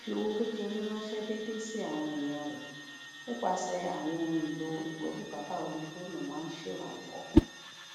fífi owó kékeré ránṣé déédéé sí àwọn èèyàn rẹ nípasè àwọn ohun èlò ìgbóbùkátà orí fóònù máa ń ṣèrànwó